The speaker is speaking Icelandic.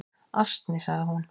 """Asni, sagði hún."""